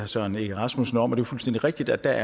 søren egge rasmussen om det er fuldstændig rigtigt at der